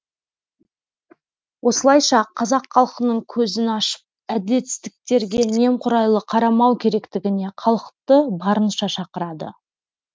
осылайша қазақ халқының көзін ашып әділетсіздіктерге немқұрайлы қарамау керетігіне халықты барынша шақырады